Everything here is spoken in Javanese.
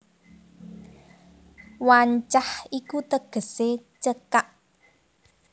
Wancah iku tegesé cekak